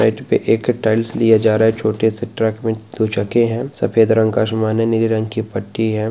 एक टाइल्स लिए जा रहा है छोटे से ट्रेक में कुछ रखे है सफ़ेद रंग का आसमानी रंग की पट्टी है।